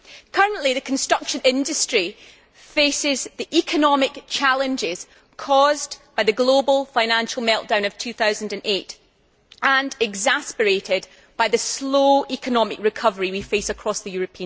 Currently, the construction industry is facing the economic challenges caused by the global financial meltdown of 2008 and exacerbated by the slow economic recovery we face across the EU.